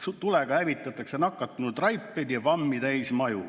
Sina, Kalle, jääd oma jutuga kahe vahele.